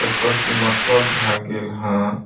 जकड़ के मतलब है गेल हाँ।